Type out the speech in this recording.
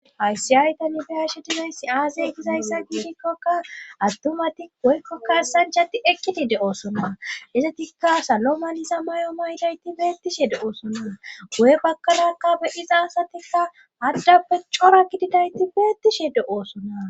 Hayssi ayta nifiyashe dilayssi aasay gizayssa gishikkoka attumati woykkokka sanjati ekkidi de oosona izatikka saloma liza may'o maydayti beettishe de oosona goye bakalakka be iza asatikka haddappe cora gididayti beettishe de oosona.